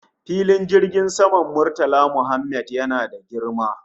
Filin jirgin saman Murtala Mohammed yana da girma